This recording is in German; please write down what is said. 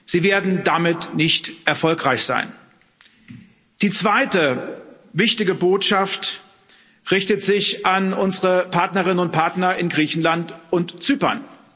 Sie werden damit nicht erfolgreich sein. Die zweite wichtige Botschaft richtet sich an unsere Partnerinnen und Partner in Griechenland und Zypern.